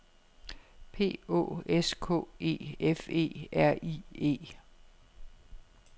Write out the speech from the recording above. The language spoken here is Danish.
P Å S K E F E R I E